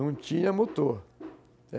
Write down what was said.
Não tinha motor.